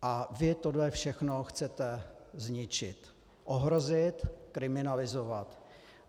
A vy tohle všechno chcete zničit, ohrozit, kriminalizovat.